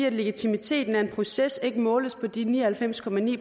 at legitimiteten er en proces der ikke kan måles på de ni og halvfems